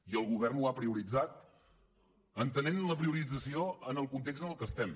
i el govern ho ha prioritzat entenent la priorització en el context en què estem